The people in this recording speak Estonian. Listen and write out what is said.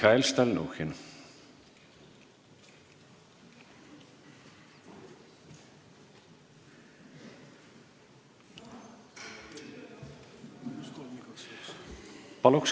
Mihhail Stalnuhhin, palun!